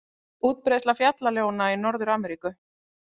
Útbreiðsla fjallaljóna í Norður-Ameríku.